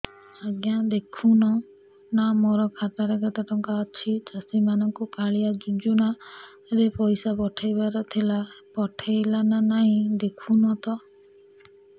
ଆଜ୍ଞା ଦେଖୁନ ନା ମୋର ଖାତାରେ କେତେ ଟଙ୍କା ଅଛି ଚାଷୀ ମାନଙ୍କୁ କାଳିଆ ଯୁଜୁନା ରେ ପଇସା ପଠେଇବାର ଥିଲା ପଠେଇଲା ନା ନାଇଁ ଦେଖୁନ ତ